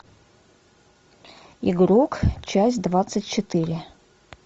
игрок часть двадцать четыре